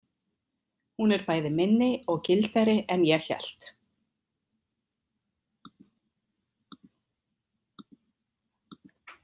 Hún er bæði minni og gildari en ég hélt.